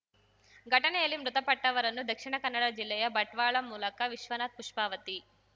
ಘಟನೆಯಲ್ಲಿ ಮೃತಪಟ್ಟವರನ್ನು ದಕ್ಷಿಣ ಕನ್ನಡ ಜಿಲ್ಲೆಯ ಬಂಟ್ವಾಳ ಮೂಲಕ ವಿಶ್ವನಾಥ್‌ ಪುಷ್ಪಾವತಿ